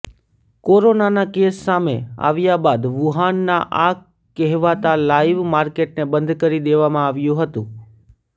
કોરોનાના કેસ સામે આવ્યા બાદ વુહાનના આ કહેવાતા લાઈવ માર્કેટને બંધ કરી દેવામાં આવ્યું હતું